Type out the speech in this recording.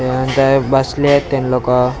ते म्हणताय बसले एत ते लोकं नंतर पुरा--